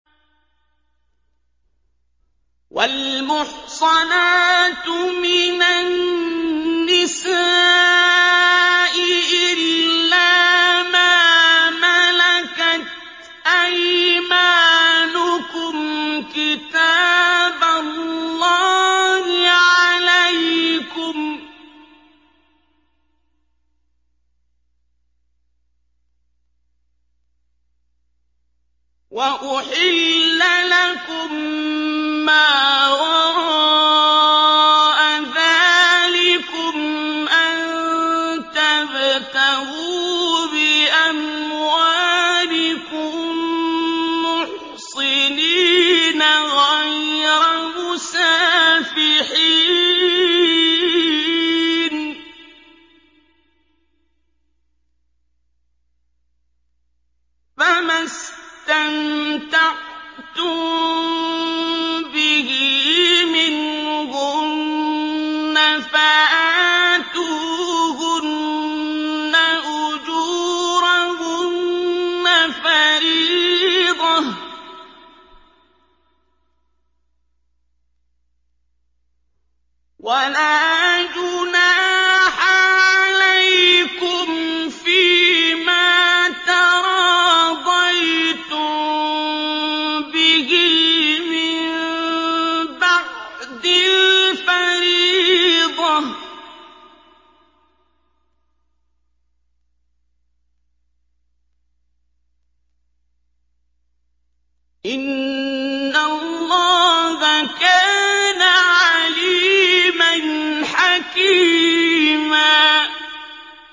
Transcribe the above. ۞ وَالْمُحْصَنَاتُ مِنَ النِّسَاءِ إِلَّا مَا مَلَكَتْ أَيْمَانُكُمْ ۖ كِتَابَ اللَّهِ عَلَيْكُمْ ۚ وَأُحِلَّ لَكُم مَّا وَرَاءَ ذَٰلِكُمْ أَن تَبْتَغُوا بِأَمْوَالِكُم مُّحْصِنِينَ غَيْرَ مُسَافِحِينَ ۚ فَمَا اسْتَمْتَعْتُم بِهِ مِنْهُنَّ فَآتُوهُنَّ أُجُورَهُنَّ فَرِيضَةً ۚ وَلَا جُنَاحَ عَلَيْكُمْ فِيمَا تَرَاضَيْتُم بِهِ مِن بَعْدِ الْفَرِيضَةِ ۚ إِنَّ اللَّهَ كَانَ عَلِيمًا حَكِيمًا